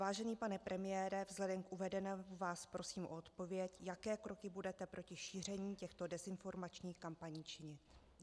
Vážený pane premiére, vzhledem k uvedenému vás prosím o odpověď, jaké kroky budete proti šíření těchto dezinformačních kampaní činit.